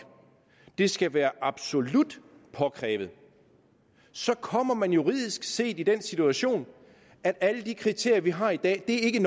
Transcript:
det skal være absolut påkrævet så kommer man juridisk set i den situation at alle de kriterier vi har i dag ikke